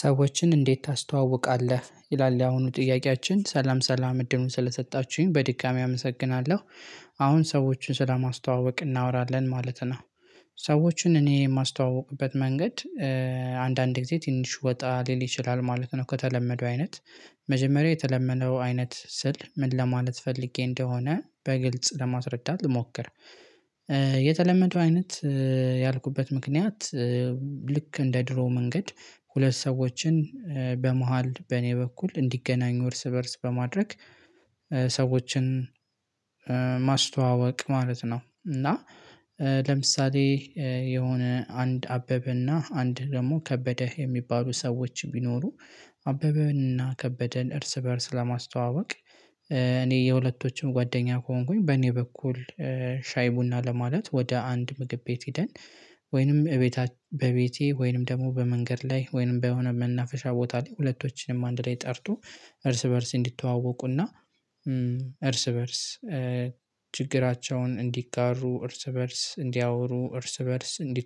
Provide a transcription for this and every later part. ሰዎችን እንዴት ታስተዋውቃለህ ይላል ያሁኑ ጥያቄያችን ሰላም ሰላም እድሉን ስለሰጣችሁኝ በድጋሜ አመሰግናለሁ። ሰዎችን ስለማስተዋወቅ እናወራለን ማለት ነው። ሰዎችን እኔ የማስተዋውቅበት መንገድ። አንዳንዴ ጊዜ ትንሽ ወጣ ሊል ይችላል ማለት ነው ከተለመደው አይነት። መጀመሪያ የተለመደው አይነት ስል ምን ለማለት ፈልጌ እንደሆነ በግልጽ ለማስረዳት ልሞክር። የተለመደው አይነት ያልኩበት ምክንያት። ልክ እንደ ድሮ መንገድ ሁለት ሰዎችን በመሃል በኔ በኩል እንዲገናኙ እርስ በእርስ በማድረግ። ሰዎችን ማስተዋወቅ ማለት ነው። እና ለምሳሌ የሆነ አንድ አበበና አንድ ደግሞ ከበደ የሚባሉ ሰዎች ቢኖሩ አበበንና ከበደ እርስ በእርስ ለማስተዋወቅ እኔ የሁለቶችን ጓደኛ ከሆንኩኝ በኔ በኩል። ሻይ ቡና ለማለት ወደ አንድ ምግብ ቤት ሄደን ወይንም እቤታችን በቤቴ ወይንም ደግሞ በመንገድ ላይ ወይንም በሆነ መናፈሻ ቦታ ላይ ሁለቶችንም አንድ ላይ ጠርቶ። እርስ በእርስ እንዲተዋወቁና እርስ በእርስ ችግራቸውን እንዲጋሩ እርስ በእርስ እንዲያወሩ እርስ በእርስ እንዲ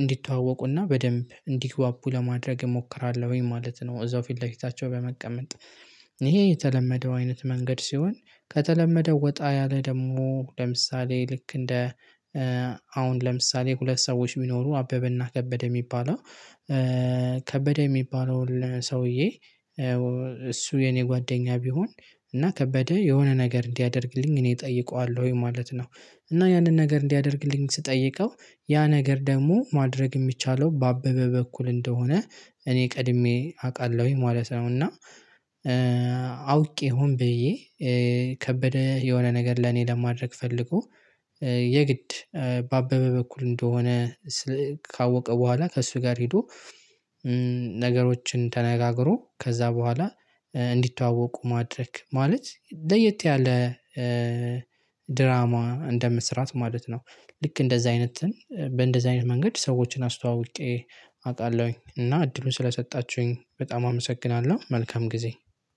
እንዲተዋወቁና በደንብ እንዲግባቡ ለማድረግ እሞክራለሁኝ ማለት ነው። እዛው ፊት ለፊታቸው በመቀመጥ። ይሄ የተለመደው አይነት መንገድ ሲሆን። ከተለመደው ወጣ ያለ ደግሞ ለምሳሌ ልክ እንደ አሁን ለምሳሌ ሁለት ሰዎች ቢኖሩ አበበና ከበደ የሚባለው። ከበደ የሚባለው ሰውዬ እሱ የኔ ጓደኛ ቢሆን እና ከበደ የሆነ ነገር እንዲያደርግልኝ እኔ እጠይቀዋለሁ ማለት ነው። እና ያንን ነገር እንዲያደርግልኝ ስጠይቀው ያ ነገር ደግሞ ማድረግ የሚቻለው በአበበ በኩል እንደሆነ እኔ ቀድሜ አውቃለሁኝ። አውቄ ሆን በየ ከበደ የሆነ ነገር ለኔ ለማድረግ ፈልጎ የግድ በአበበ በኩል እንደሆነ ካወቀ በኋላ ከእሱ ጋር ሄዶ። ነገሮችን ተነጋግሮ ከዛ በኋላ እንዲተዋወቁ ማድረግ ማለት ለየት ያለ ድራማ እንደመስራት ማለት ነው። ልክ እንደዛ አይነትን በእንደዛ አይነት መንገድ ሰዎችን አስተዋውቄ አውቃለሁኝ እና እድሉን ስለሰጣችሁኝ በጣም አመሰግናለሁ። መልካም ጊዜ።